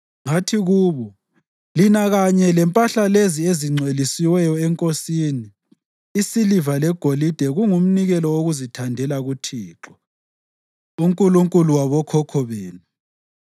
Ngathi kubo, “Lina kanye lempahla lezi lingcwelisiwe eNkosini. Isiliva legolide kungumnikelo wokuzithandela kuThixo, uNkulunkulu wabokhokho benu.